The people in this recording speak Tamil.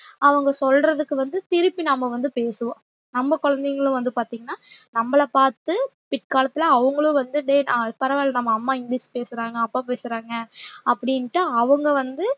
அவங்க சொல்றதுக்கு வந்து திருப்பி நாம வந்து பேசுவோம் நம்ம குழந்தைகளும் வந்து பார்த்தீங்கன்னா நம்மள பாத்து பிற்காலத்துல அவங்களும் வந்து அஹ் பரவால்ல நம்ம அம்மா இங்கிலிஷ் பேசுறாங்க அப்பா பேசுறாங்க அப்படின்ட்டு அவங்க வந்து